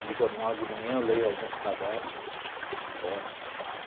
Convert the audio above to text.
E jornal de manhã eu leio alguns cadernos, de esporte, claro.